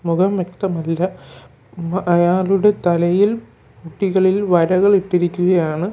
മുഖം വ്യക്തമല്ല ഉം അയാളുടെ തലയിൽ കുട്ടികളിൽ വരകൾ ഇട്ടിരിക്കുകയാണ്.